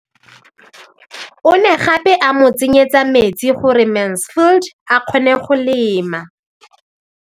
O ne gape a mo tsenyetsa metsi gore Mansfield a kgone go lema.